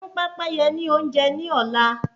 Ẹ fún pépéye ni oúnjẹ ni ola